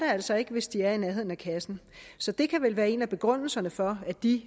altså ikke hvis de er i nærheden af kassen så det kan vel være en af begrundelserne for